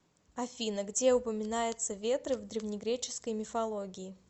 афина где упоминается ветры в древнегреческой мифологии